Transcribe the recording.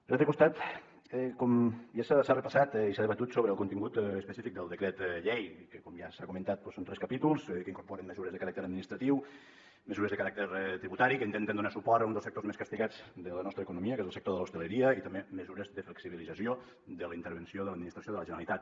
per l’altre costat com ja s’ha repassat i s’ha debatut sobre el contingut específic del decret llei que com ja s’ha comentat són tres capítols que incorporen mesures de caràcter administratiu mesures de caràcter tributari que intenten donar suport a un dels sectors més castigats de la nostra economia que és el sector de l’hostaleria i també mesures de flexibilització de la intervenció de l’administració de la generalitat